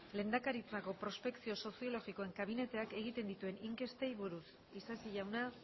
lehendakaritzako prospekzio soziologikoen kabineteak egin dituen inkestei buruz isasi jauna